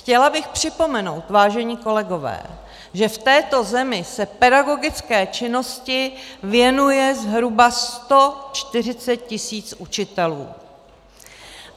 Chtěla bych připomenout, vážení kolegové, že v této zemi se pedagogické činnosti věnuje zhruba 140 tisíc učitelů.